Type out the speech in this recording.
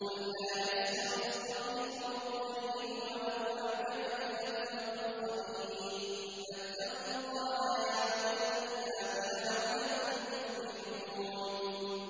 قُل لَّا يَسْتَوِي الْخَبِيثُ وَالطَّيِّبُ وَلَوْ أَعْجَبَكَ كَثْرَةُ الْخَبِيثِ ۚ فَاتَّقُوا اللَّهَ يَا أُولِي الْأَلْبَابِ لَعَلَّكُمْ تُفْلِحُونَ